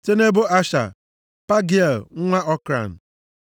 site nʼebo Asha, Pagịel nwa Okran